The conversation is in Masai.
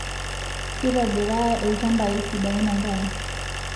Keitobiraa ilchambai sidain enkare